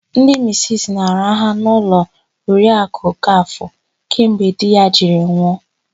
Ndị misisi na-araha n'ụlọ Oriakụ Okafọ kemgbe di ya jiri nwụ.